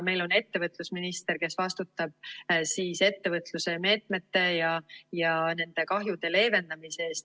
Meil on ettevõtlusminister, kes vastutab ettevõtluse meetmete ja nende kahjude leevendamise eest.